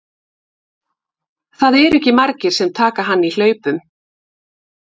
Það eru ekki margir sem taka hann í hlaupum.